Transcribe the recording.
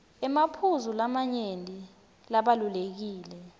emaphuzu lamanyenti labalulekile